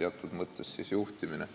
teatud mõttes juhtimine.